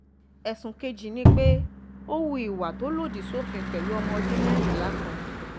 ẹ̀sùn kejì ni pé ó hu ìwà tó lòdì sófin pẹ̀lú ọmọ ọdún mẹ́rìnlá kan